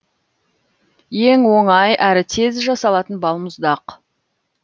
ең оңай әрі тез жасалатын балмұздақ